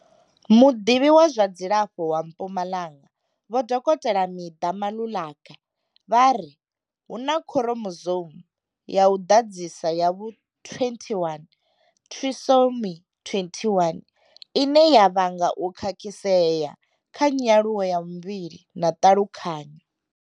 Muḓivhi wa zwa dzilafho wa Mpumalanga vho Dokotela Midah Maluleka vha ri, Hu na khuromozoumu ya u ḓadzisa ya vhu 21 Trisomy 21, ine ya vhanga u khakhisea kha nyaluwo ya muvhili na ṱhalukanyo.